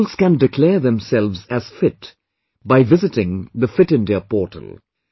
The Schools can declare themselves as Fit by visiting the Fit India portal